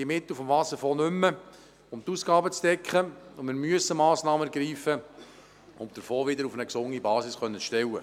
Die Mittel des Wasserfonds reichen also nicht mehr aus, um die Ausgaben zu decken, und wir müssen zwingend Massnahmen treffen, um den Fonds wieder auf eine gesunde Basis zu stellen.